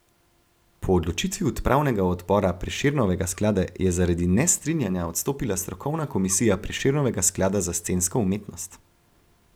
Po odločitvi upravnega odbora Prešernovega sklada je zaradi nestrinjanja odstopila strokovna komisija Prešernovega sklada za scensko umetnost.